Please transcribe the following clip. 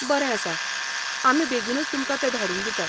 बरें आसा, आमी बेगीनूच तुमकां तें धाडून दितात.